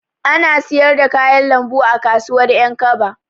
Ana siyar da kayan lambu a kasuwar Ƴankaba.